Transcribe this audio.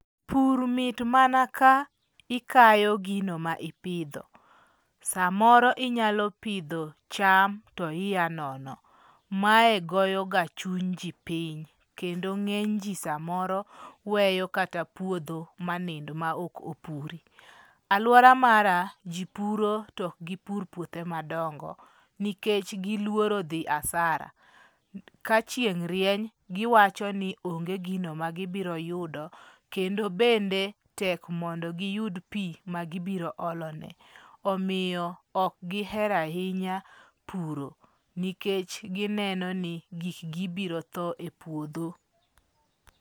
Pur mit mana ka ikayo gino ma ipidho. Samoro inyalo pidho cham tia nono. Mae goyo ka chuny jii piny kendo ng'eny jii samoro weyo kata puodho ma nind ma ok opuri. Aluora mara jii puro to ok gipur puothe madongo nikech giluor dhi asara ka chieng' rieny. Giwacho ni onge gino ma gibiro yudo kendo bende tek mondo giyud pii ma gibiro olo ne omiyo ok gihero ahinya puro nikech gineno ni gik gi biro tho e puodho.